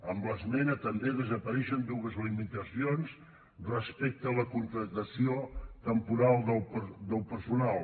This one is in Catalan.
amb l’esmena també desapareixen dues limitacions respecte a la contractació temporal del personal